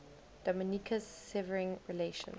dominica's severing relations